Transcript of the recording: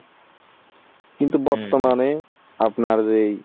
কিন্তু বর্তমানে আপনার যেই